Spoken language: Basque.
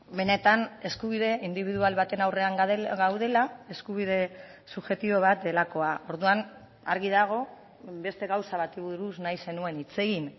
benetan eskubide indibidual baten aurrean gaudela eskubide subjektibo bat delakoa orduan argi dago beste gauza bati buruz nahi zenuen hitz egin